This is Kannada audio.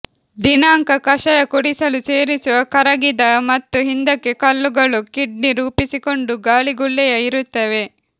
ದಿನಾಂಕ ಕಷಾಯ ಕುಡಿಯಲು ಸೇರಿಸುವ ಕರಗಿದ ಮತ್ತು ಹಿಂದಕ್ಕೆ ಕಲ್ಲುಗಳು ಕಿಡ್ನಿ ರೂಪಿಸಿಕೊಂಡು ಗಾಳಿಗುಳ್ಳೆಯ ಇರುತ್ತವೆ